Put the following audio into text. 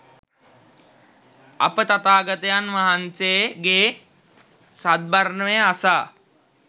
අප තථාගතයන් වහන්සේගේ සද්ධර්මය අසා